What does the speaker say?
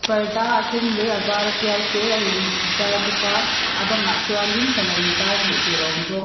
parda a sen leh a vara tial te a in zar bawk a a bangah chuanin sana intar hmuh tur a awm bawk.